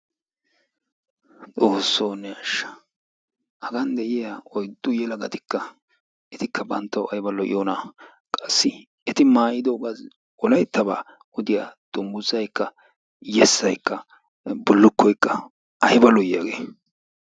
xoossoo ne asha! hagan de'iya oydu yelagattikka ayba lo'iyona. etikka banttawu, qassi eti maayidogaa wolaytabaa odiya dunguzzaykka , yesaykka ayba lo'ii?